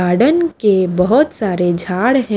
Garden के बहोत सारे झाड़ है।